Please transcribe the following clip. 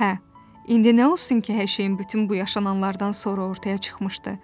Hə, indi nə olsun ki, hər şeyin bütün bu yaşananlardan sonra ortaya çıxmışdı